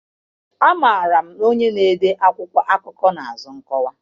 Amaara m onye na-ede akwụkwọ akụkọ n'azụ nkọwa.